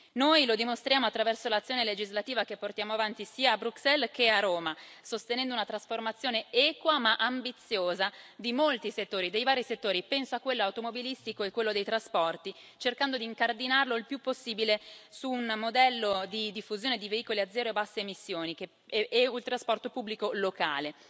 Noi lo dimostriamo attraverso l'azione legislativa che portiamo avanti sia a Bruxelles che a Roma, sostenendo una trasformazione equa ma ambiziosa di molti settori, penso a quello automobilistico e a quello dei trasporti, cercando di incardinarli il più possibile su un modello di diffusione di veicoli a zero e basse emissioni e il trasporto pubblico locale.